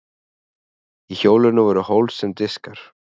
í hjólinu voru hólf sem diskar